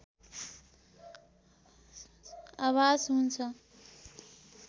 आभास हुन्छ